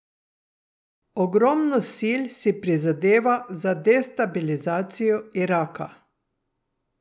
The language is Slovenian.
Ogromno sil si prizadeva za destabilizacijo Iraka.